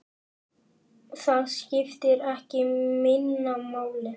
Það skiptir ekki minna máli.